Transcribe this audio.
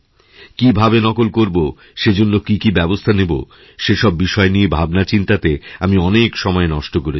কীভাবে নকল করবো সেজন্য কী কী ব্যবস্থা নেব সেসব বিষয় নিয়ে ভাবনা চিন্তাতে আমি অনেক সময় নষ্ট করেছি